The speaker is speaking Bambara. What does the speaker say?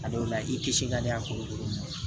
A dɔw la i kisi ka di a kolokolon ma